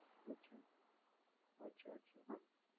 અચ્છા અચ્છા હ